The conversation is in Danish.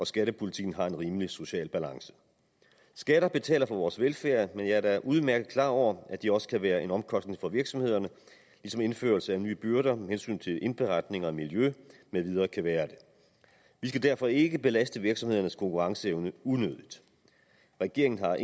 skattepolitikken har en rimelig social balance skatter betaler for vores velfærd men jeg er da udmærket klar over at de også kan være en omkostning for virksomhederne ligesom indførelse af nye byrder med hensyn til indberetning og miljø med videre kan være det vi skal derfor ikke belaste virksomhedernes konkurrenceevne unødigt regeringen har